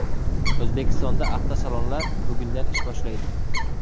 O‘zbekistonda avtosalonlar bugundan ish boshlaydi.